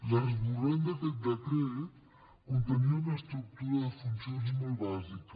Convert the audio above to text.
l’esborrany d’aquest decret contenia una estructura de funcions molt bàsica